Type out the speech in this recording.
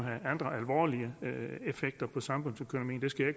have andre alvorlige effekter for samfundsøkonomien det skal jeg